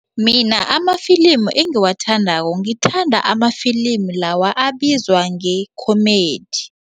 Mina amafilimu engiwathandako ngithanda amafilimu lawa abizwa nge-comedy.